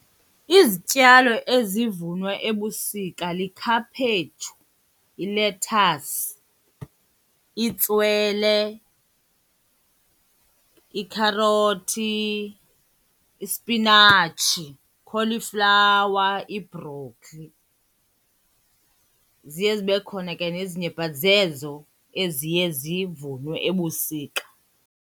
Izityalo ezivunwa ebusika likhaphetshu, ilethasi, itswele, ikherothi, ispinatshi, ikholiflawa, ibhrokhli. Ziye zibe khona ke nezinye but zezo eziye zivunwe ebusika.